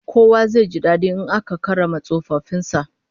Kowa zai ji dadi in aka karrama tsofaffin sa